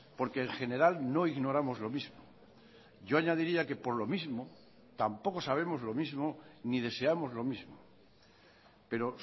porque en general no ignoramos lo mismo yo añadiría que por lo mismo tampoco sabemos lo mismo ni deseamos lo mismo pero